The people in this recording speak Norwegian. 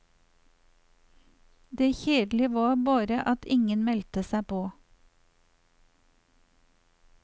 Det kjedelige var bare at ingen meldte seg på.